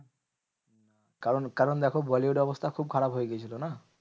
কারণ কারণ দেখো bollywood এর অবস্থা খুব খারাপ হয়ে গেছিলো না?